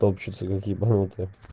топчатся как ебанутые